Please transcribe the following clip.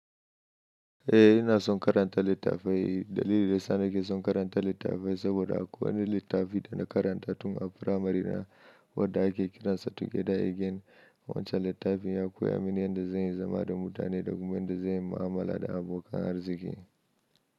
Eh ina son karanta littafai. Dalili da yasa nake son karanta littafai saboda akwai wani littafi da na karanta tun a firamari wadda ake kiran sa together again. Wancan littafin ya koya mini yadda zan yi zama da mutane da kuma yanda zan yi mu'amala da abokan arziki.